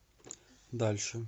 дальше